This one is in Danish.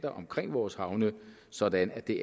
omkring vores havne sådan at det